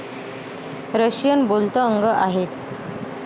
Russian बोलत अगं आहेत.